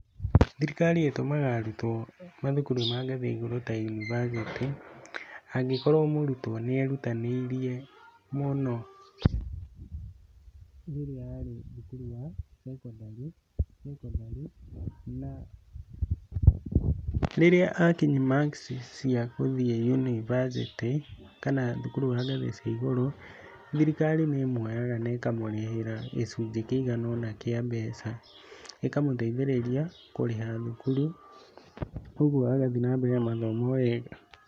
Thirikari ĩtũmaga arutwo mathukuru-inĩ ma ngathĩ ya igũrũ ta yunibacĩtĩ, angĩkorwo mũrutwo nĩ erutanĩirie mũno rĩrĩa arĩ thukuru wa cekondari na rĩrĩa akinyia marks cia gũthiĩ yunibacĩtĩ kana thukuru wa ngathĩ cia igũrũ, thirikari nĩ ĩmũoyaga na ĩkamũrĩhĩra gĩcunjĩ kĩiganona kĩa mbeca, ĩkamũteithĩrĩria kũrĩha thukuru koguo agathiĩ na mbere na mathomo o wega.